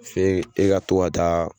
F'e e ka to ka taa